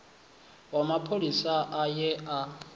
wa mapholisa a ye a